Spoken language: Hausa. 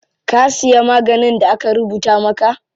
Ka siya maganin da aka rubuta maka?